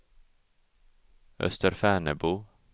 Österfärnebo